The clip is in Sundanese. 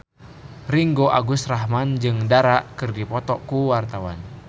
Ringgo Agus Rahman jeung Dara keur dipoto ku wartawan